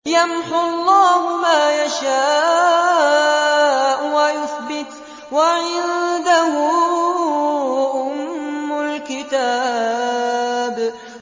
يَمْحُو اللَّهُ مَا يَشَاءُ وَيُثْبِتُ ۖ وَعِندَهُ أُمُّ الْكِتَابِ